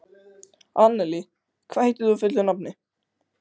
Annelí, hvað heitir þú fullu nafni?